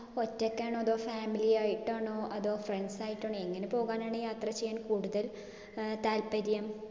ഒറ്റക്കാണോ? അതോ family ആയിട്ടാണോ? അതോ friends ആയിട്ടാണോ? എങ്ങിനെ പോകാനാണ് യാത്ര ചെയ്യാൻ കൂടുതൽ ഏർ താല്പര്യം?